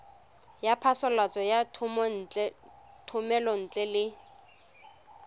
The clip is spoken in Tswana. ya phasalatso ya thomelontle le